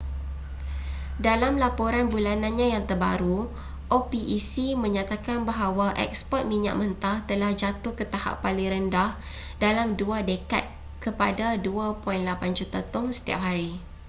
dalam laporan bulanannya yang terbaru opec menyatakan bahawa eksport minyak mentah telah jatuh ke tahap paling rendah dalam dua dekad kepada 2.8 juta tong setiap hari